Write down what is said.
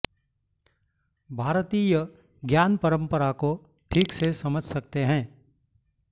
भारतीय ज्ञान परम्परा को ठीक से समझ सकते हैं